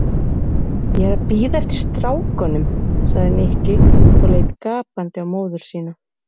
Ég er að bíða eftir strákunum sagði Nikki og leit gapandi á móður sína.